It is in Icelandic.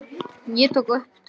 Ég tók upp tólið.